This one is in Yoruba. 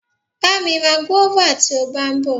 Bá mi ra guava tí o bá ń bọ.